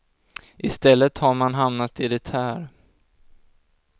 I stället har man hamnat i det här.